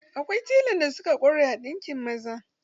Akwai telan da suka ƙware a ɗinkin maza.